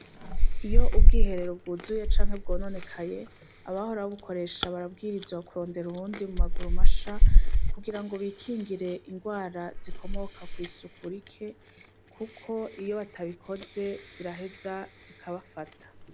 Iyo ubwiherero bwuzuye canke bwononekaye abahora babukoresha barabwirizwa kurondera ubundi mu maguru masha, kugira ngo bikingire indwara zikomoka kw'isuku rike kuko iyo batabikoze ziraheza zikabafata.